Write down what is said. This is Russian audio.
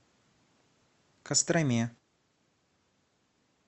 костроме